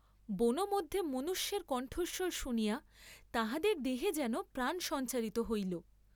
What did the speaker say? বনমধ্যে মনুষ্যের কণ্ঠস্বর শুনিয়া তাঁহাদের দেহে যেন প্রাণ সঞ্চারিত হইল।